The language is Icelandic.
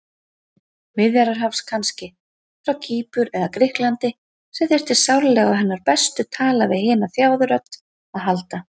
Miðjarðarhafs kannski, frá Kýpur eða Grikklandi, sem þyrfti sárlega á hennar bestu tala-við-hina-þjáðu-rödd að halda.